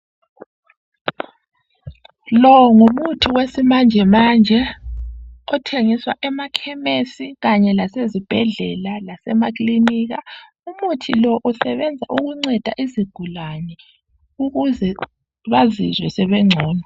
lo ngumuthi wesimanjemanje othengiswa emakhemesi kanye lasezibhedlela lasemakilinika umuthi lo usebenza ukunceda izigulane ukuze bazizwe sebencono